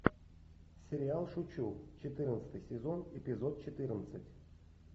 сериал шучу четырнадцатый сезон эпизод четырнадцать